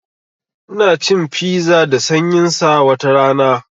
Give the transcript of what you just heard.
Ina cin fiza da sanyin sa watarana